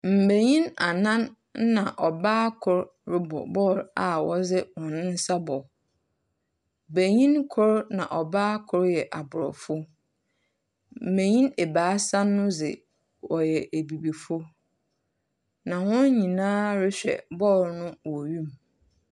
Mmenyin anan ɛna ɔbaa koro rebɔ bɔɔl a wɔde nsa bɔ. Benyini koro na ɔbaa koro yɛ abrɔfo. Mmenyin abaasa no de wɔyɛ abibifo. Na wɔn nyinaa rehwɛ bɔɔl no wɔ wim.